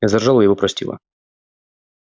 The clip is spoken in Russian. я заржала и его простила